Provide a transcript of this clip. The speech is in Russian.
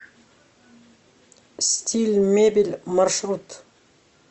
стиль мебель маршрут